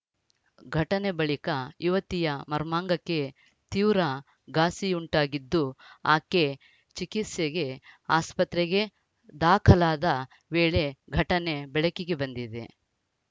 ಘಟನೆ ಬಳಿಕ ಯುವತಿಯ ಮರ್ಮಾಂಗಕ್ಕೆ ತೀವ್ರ ಘಾಸಿಯುಂಟಾಗಿದ್ದು ಆಕೆ ಚಿಕಿತ್ಸೆಗೆ ಆಸ್ಪತ್ರೆಗೆ ದಾಖಲಾದ ವೇಳೆ ಘಟನೆ ಬೆಳಕಿಗೆ ಬಂದಿದೆ